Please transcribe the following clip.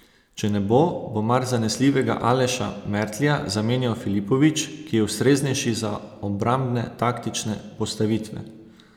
Če ne bo, bo mar zanesljivega Aleša Mertlja zamenjal Filipović, ki je ustreznejši za obrambne taktične postavitve?